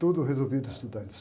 Tudo resolvido, estudantes.